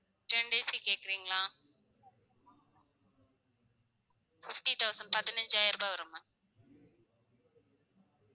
Ten days க்கு கேக்குறீங்களா? fifty thousand பதினஞ்சாயிரபம் வரும் ma'am